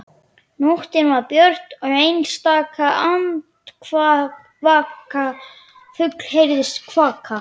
Nóttin var björt og einstaka andvaka fugl heyrðist kvaka.